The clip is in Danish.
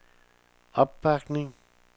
opbakning